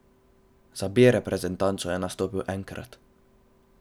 Za B reprezentanco je nastopil enkrat.